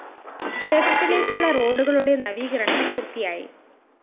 ക്ഷേത്രത്തിലേക്കുള്ള റോഡുകളുടെ നവീകരണം പൂര്‍ത്തിയായി